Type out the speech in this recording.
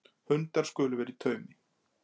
Hundar skulu vera í taumi